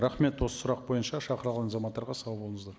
рахмет осы сұрақ бойынша шақырылған азаматтарға сау болыңыздар